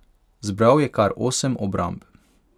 Zbral je kar osem obramb.